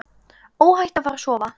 Óhætt að fara að sofa.